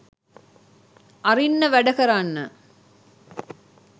අරින්න වැඩ කරන්න